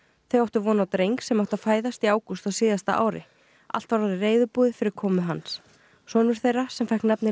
þau áttu von á dreng sem átti að fæðast í ágúst á síðasta ári allt var orðið reiðubúið fyrir komu hans sonur þeirra sem fékk nafnið